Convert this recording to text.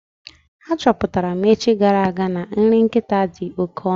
A chọpụtara m echi gara aga na nri nkịta dị oké ọnụ.